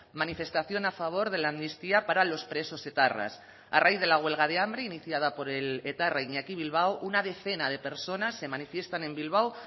manifestación a favor de la amnistía para los presos etarras a raíz de la huelga de hambre iniciada por el etarra iñaki bilbao una decena de personas se manifiestan en bilbao